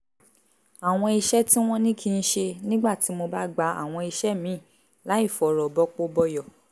àwọn iṣẹ́ tí wọ́n ní kí n ṣe nígbà tí mo bá gba àwọn iṣẹ́ míì láìfọ̀rọ̀ bọpo bọyọ̀